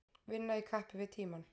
Vinna í kappi við tímann